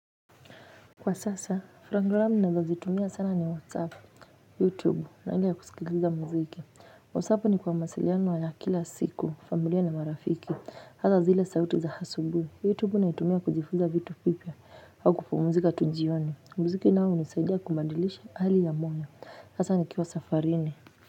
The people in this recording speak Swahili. Kwa sasa, program nazo zitumia sana ni WhatsApp, YouTube, na ile ya kusikiliza mziki. WhatsApp ni kwa mawasiliano ya kila siku, familia na marafiki, hata zile sauti za hasubuhi YouTube na itumia kujifuza vitu vipya, au kupumzika tu jioni. Mziki nao huunisaidia kubadilisha hali ya moyo. Hasa ni kiwa safarini.